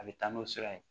A bɛ taa n'o sira ye